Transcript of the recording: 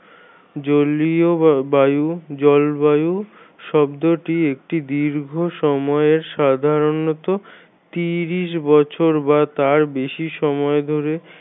জলীয় বায়ু জল বায়ু শব্দটি একটি দীর্ঘ সময়ে সাধারণত তিরিশ বছর বা তার বেশি সময় ধরে